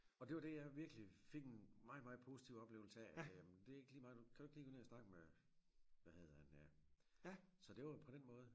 Og det var det jeg virkelig fik en meget meget positiv oplevelse af jamen det er ikke lige mig kan du ikke lige gå ned og snakke med hvad hedder han øh så det var på den måde